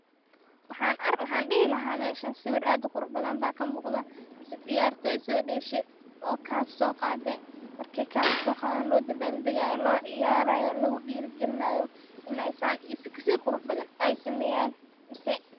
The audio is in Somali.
Waxan dihi laha meshan sawir ad u qurux badan ba kamuqda, ciyartoy so deshe oo cup soqade markay cup soqadan lo dabaldagayo lociyarayo ,lagudiri galinayo inay san iyo sikasi quxu badan ay sameyan mise.